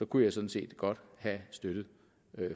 kunne jeg sådan set godt have støttet